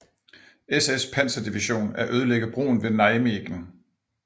SS Panserdivision at ødelægge broen ved Nijmegen